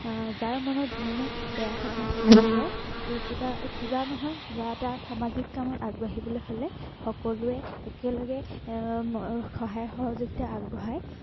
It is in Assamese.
আহ যাৰ মনত যিমানেই বেয়া ভাৱ নাথাকক কিয় এৰ কিবা কিবা নহয় কিবা এটা সামাজিক কামত আগবাঢ়িবলৈ হলে সকলোৱে একেলগে এৰ সহায় সহযোগিতা আগবঢ়ায়।